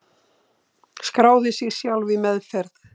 Skráði sig sjálf í meðferð